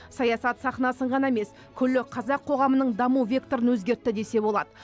саясат сахнасын ғана емес күллі қазақ қоғамының даму векторын өзгертті десе болады